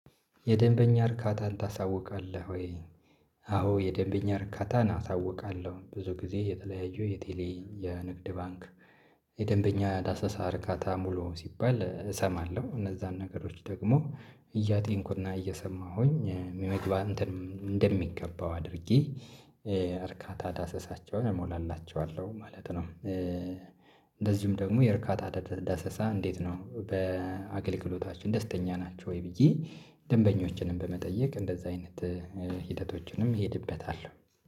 የደንበኛ እርካታን ታሳውቃለህ ወይ? አዎ የደንበኛ እርካታን አሳውቃለሁ ብዙ ጊዜ የተለያዩ የቴሌ የንግድ ባንክ የደንበኛ ዳሰሳ አርካታ ሙሉ ሲባል እሰማለሁ። እነዛን ነገሮች ደግሞ እያጤንኩና እየሰማሁኝ መግባት እንትን እንደሚገባው አድርጌ እርካታ ዳሰሳቸውን እሞላላቸዋለሁ ማለት ነው። እንደዚሁም ደግሞ የእርካታ ደሰሳ እንዴት ነው? በአገልግሎታችን ደስተኛ ናቸው ወይ ብዬ ደንበኞችንም በመጠየቅ እንደዛ አይነት ሂደቶችንም እሄድበታለሁ